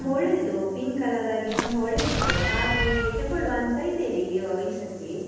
ತುಂಬ ಒಳ್ಳೆದಿತ್ತು pink color ರಾಗಿ ತುಂಬ ಒಳ್ಳೆದಿತ್ತು ಹಾಗೆ ತೆಕೊಳುವ ಅಂತ ಇದ್ದೇನೆ ಈ ಸತಿ.